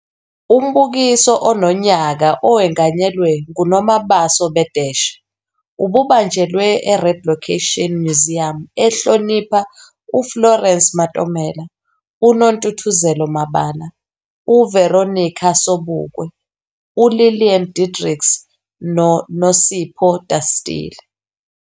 Umbukiso ononyaka owenganyelwe nguNomabaso Bedeshe ububanjelwe eRed Location Museum ehlonipha uFlorence Matomela, uNontuthuzelo Mabala, uVeronica Sobukwe, uLilian Diedricks noNosipho Dastile.